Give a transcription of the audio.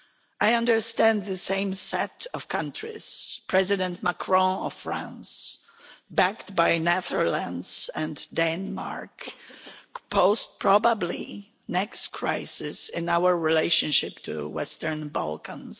I understand the same set of countries President Macron of France, backed by the Netherlands and Denmark pose probably the next crisis in our relationship with the Western Balkans.